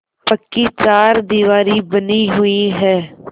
पक्की चारदीवारी बनी हुई है